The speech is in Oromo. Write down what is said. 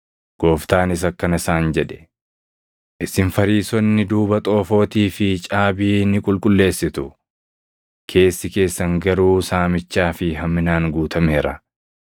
Gooftaanis akkana isaan jedhe; “Isin Fariisonni duuba xoofootii fi caabii ni qulqulleessitu; keessi keessan garuu saamichaa fi hamminaan guutameera.